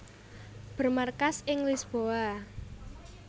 Bermarkas ing Lisboa